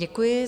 Děkuji.